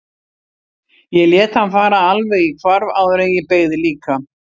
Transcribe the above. Ég lét hann fara alveg í hvarf áður en ég beygði líka.